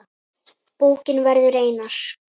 Bókin verður einar